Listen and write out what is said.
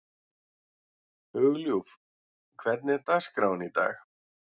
Hugljúf, hvernig er dagskráin í dag?